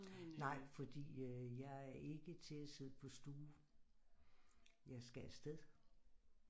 Nej fordi jeg er ikke til at sidde på stue jeg skal afsted